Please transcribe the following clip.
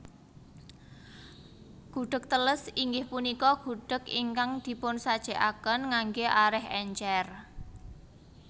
Gudheg teles inggih punika gudheg ingkang dipunsajèkaken nganggé arèh èncèr